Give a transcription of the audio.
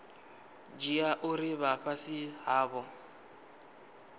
dzhia uri vha fhasi havho